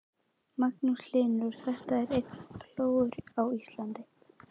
Magnús Hlynur: Og þetta er eini plógurinn á Íslandi?